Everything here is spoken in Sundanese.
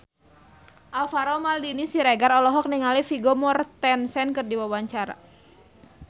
Alvaro Maldini Siregar olohok ningali Vigo Mortensen keur diwawancara